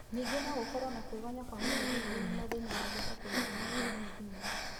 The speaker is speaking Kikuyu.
Nyingi no gũkorwo na kwĩgonya kwa mũnyiginyigi na mathĩna mangĩ ta kũnyitana kwa mũnyiginyigi